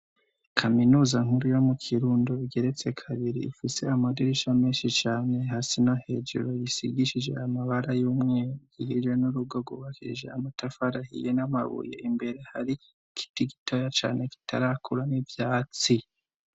Kaminuza nkuru yo mu kirundo igeretse kabiri ifise amadirisha menshi cane hasino hejuru yisigishije amabara y'umweigihijwe n'urugogubakirija amatafarahiye n'amabuye imbere hari ikiti gitoya cane kitarakura n'ivyatsi.